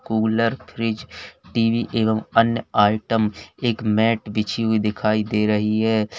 Cooler fridge TV एवं अन्य item एक मैट बिछी हुई दिखाई दे रही है।